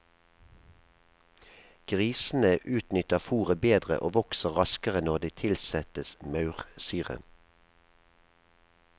Grisene utnytter fôret bedre og vokser raskere når det tilsettes maursyre.